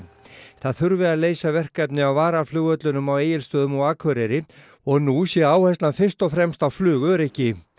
það þurfi að leysa vekefni á varaflugvöllunum á Egilsstöðum og Akureyri og nú sé áherslan fyrst og fremst á flugöryggi